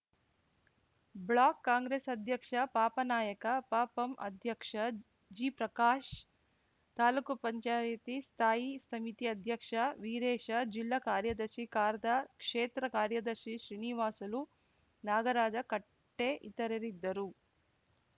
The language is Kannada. ಬ್ಲಾಕ್‌ ಕಾಂಗ್ರೆಸ್‌ ಅಧ್ಯಕ್ಷ ಪಾಪನಾಯಕ ಪಪಂ ಅಧ್ಯಕ್ಷ ಜಿಪ್ರಕಾಶ್ ತಾಲೂಕು ಪಂಚಾಯತಿ ಸ್ಥಾಯಿ ಸಮಿತಿ ಅಧ್ಯಕ್ಷ ವೀರೇಶ ಜಿಲ್ಲಾ ಕಾರ್ಯದರ್ಶಿ ಖಾರ್ದ ಕ್ಷೇತ್ರ ಕಾರ್ಯದರ್ಶಿ ಶ್ರೀನಿವಾಸಲು ನಾಗರಾಜ ಕಟ್ಟೆಇತರರಿದ್ದರು